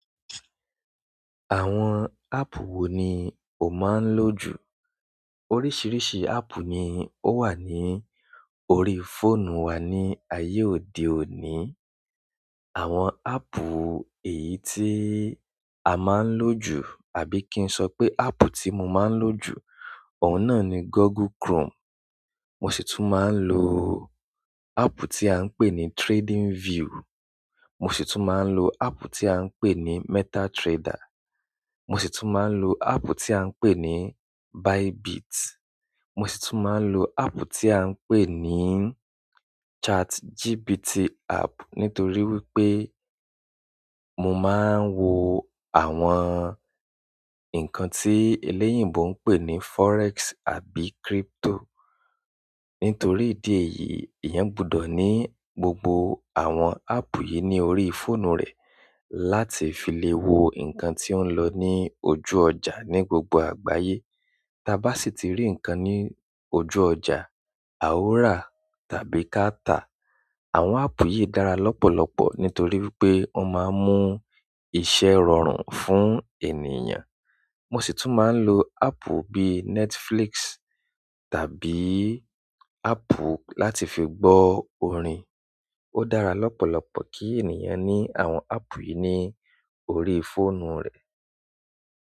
Àwọn áàpù wo ni o máa ń lò jù? Oríṣiríṣi áàpù ni ó wà ní orí fóònù wá ní ayé òde òní. Àwọn áàpù èyí tí a máa ń lò jù àbí kí n sọ pé áàpù tí mo máa ń lò jù, ọ̀ún náà ni Google Chrome. Mo sì tún máa ń lo áàpù tí à ń pè ní TradingView. Mo sì tún máa ń lo áàpù tí à ń pè ní MetaTrader. Mo sì tún máa ń lo áàpù tí à ń pè ní Bybit. Mo sì tún máa ń lo áàpù tí à ń pè ní ChatGPT app nítorí wípé mo máa ń wo àwọn ǹkan tí eléyìíbo ń pè ní forex àbí crypto. Nítorí ìdí èyí, èèyàn gbọdọ̀ ní gbogbo àwọn áàpù yìí ní orí fóònù rẹ̀ láti fi lè wo ǹkan tí ó ń lọ ní ojú ọjà ní gbogbo àgbáyé. Taa bá sì ti rí ǹkan ní ojú ọjà, a ó rà tàbí ká ta. Àwọn áàpù yìí dára lọ́pọ̀lọpọ̀ nítorí wípé wọ́n máa ń mú iṣẹ́ rọrùn fún ènìyàn. Mo sì tún máa ń lo áàpù bíi Netflix tàbí áàpù láti fi gbọ́ orin. Ó dára lọ́pọ̀lọpọ̀ kí ènìyàn ní àwọn áàpù yìí ní orí fóònù rẹ̀.